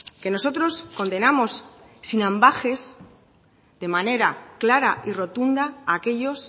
que nosotros condenamos sin ambages de manera clara y rotunda a aquellos